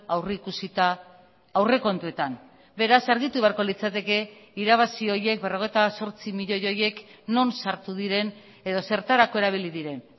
aurrikusita aurrekontuetan beraz argitu beharko litzateke irabazi horiek berrogeita zortzi milioi horiek non sartu diren edo zertarako erabili diren